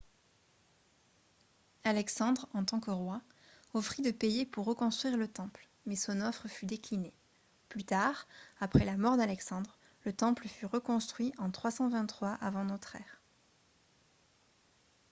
alexandre en tant que roi offrit de payer pour reconstruire le temple mais son offre fut déclinée plus tard après la mort d'alexandre le temple fut reconstruit en 323 avant notre ère